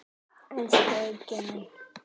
Elsku Eiki minn.